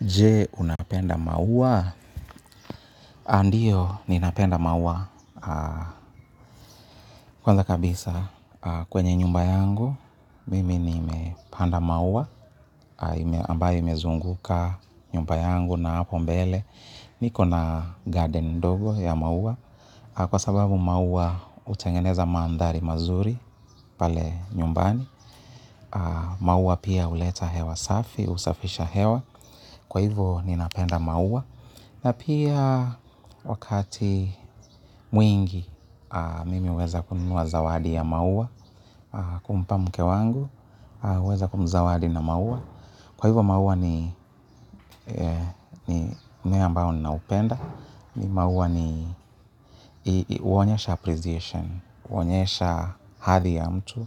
Je, unapenda maua? Ndio, ninapenda maua. Kwanza kabisa kwenye nyumba yangu. Mimi nimepanda maua, ambayo imezunguka nyumba yangu na hapo mbele. Niko na garden ndogo ya maua. Kwa sababu maua hutengeneza mandhari mazuri pale nyumbani. Maua pia huleta hewa safi, husafisha hewa. Kwa hivyo ninapenda maua. Na pia wakati mwingi mimi huweza kununua zawadi ya maua. Kumpa mke wangu, huweza kumzawadi na maua. Kwa hivyo maua ni mmea ambao ninaupenda. Maua ni huonyesha appreciation, huonyesha hadhi ya mtu.